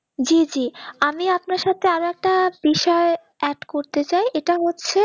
জি জি আমি আপনার সাথে একটা বিষয় add করতে চাই এটা হচ্ছে